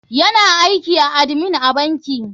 Yana aiki a admin a banki.